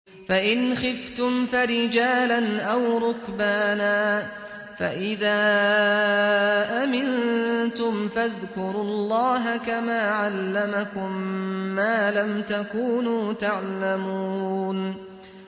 فَإِنْ خِفْتُمْ فَرِجَالًا أَوْ رُكْبَانًا ۖ فَإِذَا أَمِنتُمْ فَاذْكُرُوا اللَّهَ كَمَا عَلَّمَكُم مَّا لَمْ تَكُونُوا تَعْلَمُونَ